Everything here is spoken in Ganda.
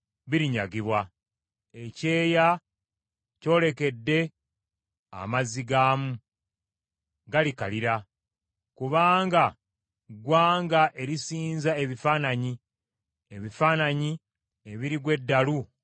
Ekyeya kyolekedde amazzi gaamu! Galikalira. Kubanga ggwanga erisinza ebifaananyi, ebifaananyi ebirigwa eddalu olw’entiisa.